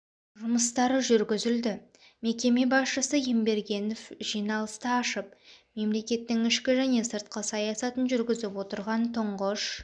жұмыстары жүргізілді мекеме басшысы ембергенов жиналысты ашып мемлекеттің ішкі және сыртқы саясатын жүргізіп отырған тұңғыш